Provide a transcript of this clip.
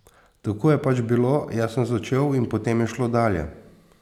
Tako je pač bilo, jaz sem začel in potem je šlo dalje.